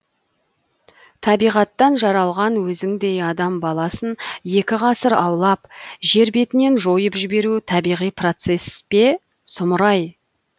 табиғаттан жаралған өзіңдей адам баласын екі ғасыр аулап жер бетінен жойып жіберу табиғи процесс пе сұмырай